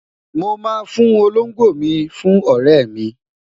mo ma fún Olongbo mi fún ọrẹ mi